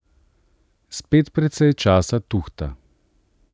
Spet precej časa tuhta.